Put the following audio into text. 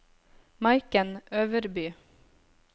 Maiken Øverby